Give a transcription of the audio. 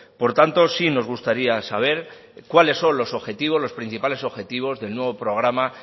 por tanto sí nos gustaría saber cuáles son los objetivos los principales objetivos del nuevo programa